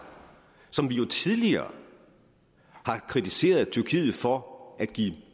som vi jo tidligere har kritiseret tyrkiet for at give